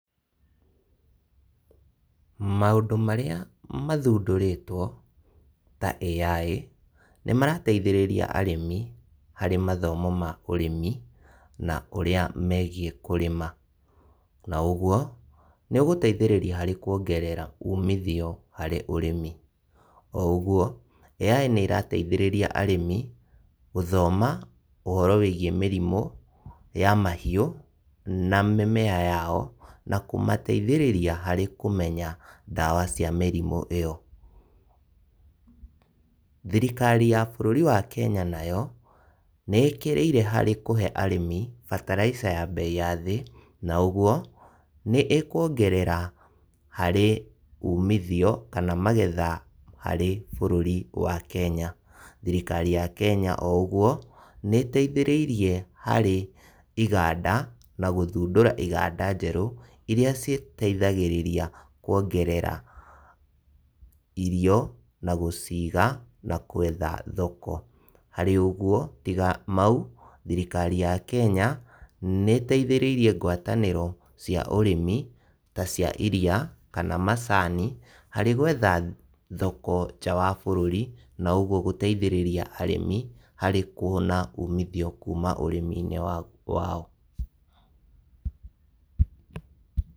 Maũndũ marĩa mathundũrĩtwo ta AI nĩmarateithĩrĩria arĩmi harĩ mathomo ma ũrĩmi na ũrĩa megiĩ kũrĩma, na ũguo nĩũgũteithĩrĩria harĩ kũongerera umithio harĩ ũrĩmi. Oũguo, AI nĩĩrateithĩrĩria arĩmi gũthoma ũhoro wĩgiĩ mĩrimũ ya mahiũ na mĩmea yao, na kũmateithĩrĩria harĩ kũmenya ndawa cia mĩrimũ ĩyo. Thirikari ya bũrũri wa Kenya nayo, nĩĩkĩrĩire harĩ kũhe arĩmi fertilizer ya mbei ya thĩ,, na ũguo nĩĩkuongerera harĩ umithio kana magetha harĩ bũrũri wa Kenya. Thirikari ya Kenya, o ũguo, nĩĩteithĩrĩirie harĩ iganda na gũthundũra iganda njerũ, iria citeithagĩrĩria kuongerera irio na gũciga na gwetha thoko. Harĩ ũguo, tiga mau, thirikari ya Kenya nĩĩteithĩrĩirie ngwatanĩro cia ũrĩmi ta cia iria kana macani harĩ gwetha thoko nja wa bũrũri na ũguo gũteithĩrĩria arĩmi harĩ kuona umithio kuma kũrĩ ũrĩmi-inĩ wao.